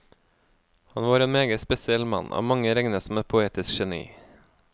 Han var en meget spesiell mann, av mange regnet som et poetisk geni.